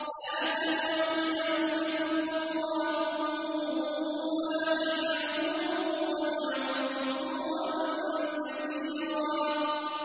لَّا تَدْعُوا الْيَوْمَ ثُبُورًا وَاحِدًا وَادْعُوا ثُبُورًا كَثِيرًا